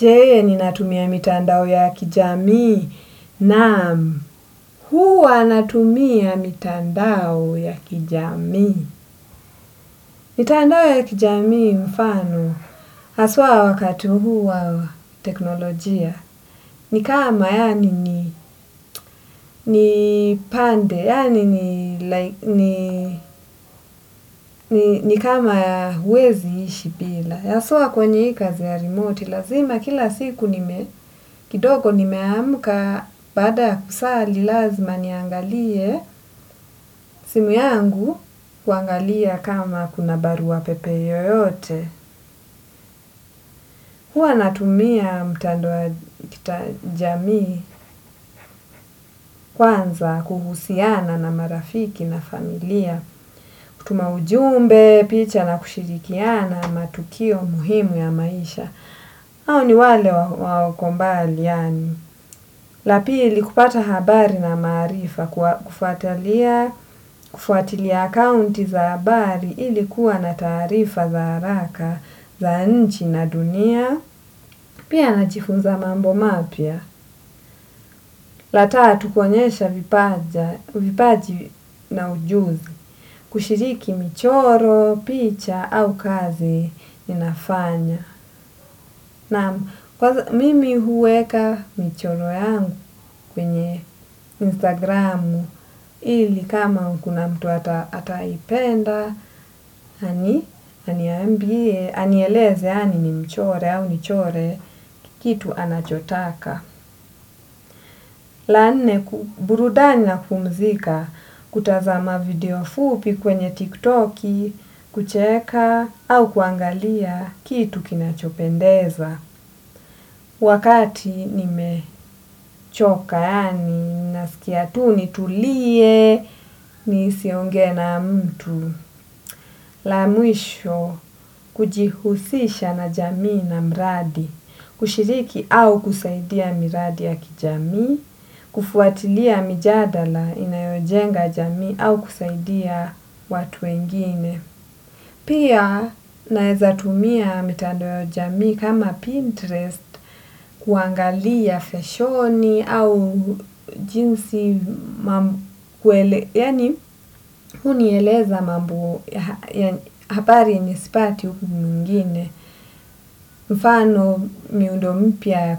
Je, ninatumia mitandao ya kijamii? Naam. Huwa natumia mitandao ya kijamii. Mitandao ya kijamii mfano. Haswa wakati huu wa teknolojia. Ni kama yani ni pande. Yani ni kama huwezi kuishi bila. Hasa kwenye hii kazi ya remote. Lazima kila siku nime, kidogo nimeamka baada ya kusali lazima niangalie simu yangu kuangalia kama kuna barua pepe yoyote. Huwa natumia mtandao wa kijamii kwanza kuhusiana na marafiki na familia, kutuma ujumbe, picha na kushirikiana matukio muhimu ya maisha. Hao ni wale wakombali yani, la pili kupata habari na maarifa, kufuatilia akaunti za habari ilikuwa na taarifa za haraka, za nchi na dunia, pia najifunza mambo mapya. La tatu kuonyesha, vipaji na ujuzi, kushiriki michoro, picha au kazi ninafanya. Naam, mimi huweka michoro yangu kwenye instagramu ili kama kuna mtu ataipenda, anieleze yaani nimchore au nichore kitu anachotaka. La nne, burudani na kupumzika, kutazama video fupi kwenye tiktoki, kucheka, au kuangalia kitu kinachopendeza. Wakati nimechoka, yani, sikia tu nitulie, nisionge na mtu. La mwisho kujihusisha na jamii na miradi, kushiriki au kusaidia miradi ya kijamii, kufuatilia mijadala inayojenga jamii au kusaidia watu wengine. Pia naweza kutumia mitandao jamii kama Pinterest kuangalia fashioni au jinsi, yani hunieleza mambo ya habari yenye sipati huku mwingine. Mfano miundo mpya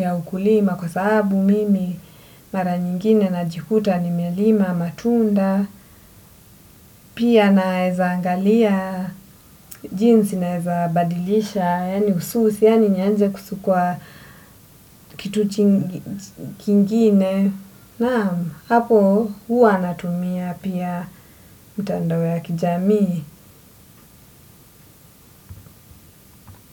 ya ukulima kwa sababu mimi mara nyingine najikuta nimelima matunda. Pia naweza angalia jinsi naweza badilisha yani ususi yani nianze kusukwa kitu kingine. Naam, hapo huwa natumia pia mtandao ya kijamii.